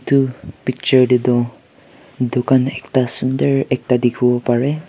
etu picture te toh dukan ekta sunder ekta dikhiwo pare.